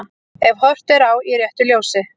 Ef horft er á í réttu ljósi.